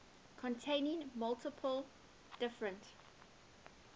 containing multiple different